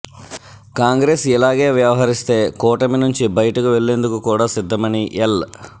కాంగ్రెస్ ఇలాగే వ్యవహరిస్తే కూటమినుంచి బయటికి వెళ్లేందుకు కూడా సిద్ధమని ఎల్